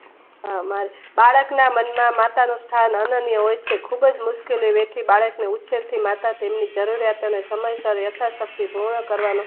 બાળકના મનમાં માતાનું સ્થાન અનન્ય હોય છે. ખુબ જ મુશ્કેલીઓથી થી બાળકને થી માતા સામંથન યથાશક્તિ પૂર્ણ કરવાનું